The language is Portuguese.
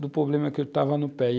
do problema que eu estava no pé.